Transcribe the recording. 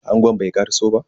Angon bai karaso ba.